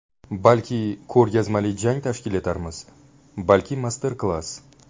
Balki, ko‘rgazmali jang tashkil etarmiz, balki master-klass.